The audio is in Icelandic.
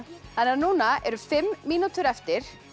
núna eru fimm mínútur eftir